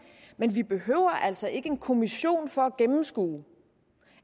men vi behøver altså ikke en kommission for at gennemskue